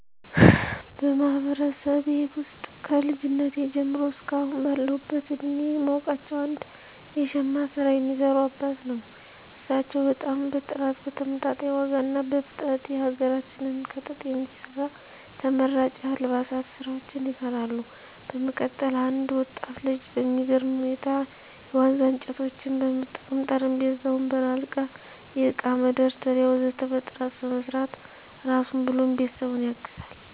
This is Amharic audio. በማህበረሰቤ ውስጥ ከልጅነቴ ጀምሮ እስከ አሁን ባለሁበት እድሜየ የማውቃቸው አንድ የሽመና ስራ የሚሰሩ አባትን ነው። እሳቸው በጣም በጥራት በተመጣጣኝ ዋጋ እና በፍጥነት የሀገራችንን ከጥጥ የሚሰራ ተመራጭ የአልባሳት ስራዎችን ይሰራሉ። በመቀጠል አንድ ወጣት ልጅ በሚገርም ሁኔታ የዋነዛ እንጨቶችን በመጠቀም ጠረጴዛ፣ ወንበር፣ አልጋ፣ የእቃ መደርደሪያ ወ.ዘ.ተ በጥራት በመስራት ራሱን ብሎም ቤተሰቡን ያግዛል።